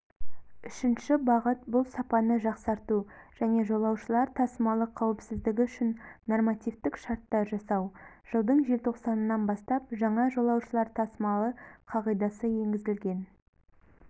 үшінші бағыт бұл сапаны жақсарту және жолаушылар тасымалы қауіпсіздігі үшін нормативтік шарттар жасау жылдың желтоқсанынан бастап жаңа жолаушылар тасымалы қағидасы енгізілген